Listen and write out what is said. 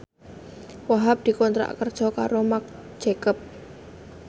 Wahhab dikontrak kerja karo Marc Jacob